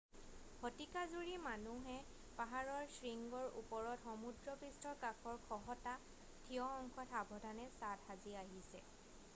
শতিকা জুৰি মানুহে পাহাৰৰ শৃংগৰ ওপৰত সমুদ্ৰপৃষ্ঠৰ কাষৰ খহটা ঠিয় অংশত সাৱধানে ছাদ সাজি আহিছে